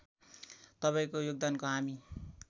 तपाईँको योगदानको हामी